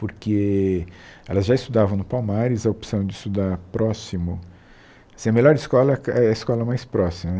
Porque elas já estudavam no Palmares, a opção de estudar próximo... Assim, a melhor escola é a escola mais próxima né.